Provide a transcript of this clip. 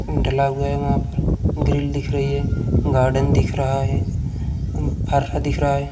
ढला हुआ है वहाँ पर ग्रिल दिख रही है। गार्डन दिख रहा है। फर्रा दिख रहा है।